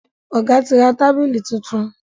ọgá tí ra tábìlì títún.